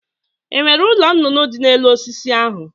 E nwere ụlọ nụnụnụ dị n'elu osisi ahụ